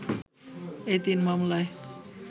এই তিন মামলায়